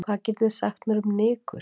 Hvað getir þið sagt mér um nykur?